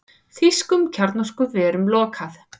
Þýskum kjarnorkuverum lokað